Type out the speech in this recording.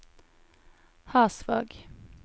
Hasvåg